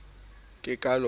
ke ka lona e se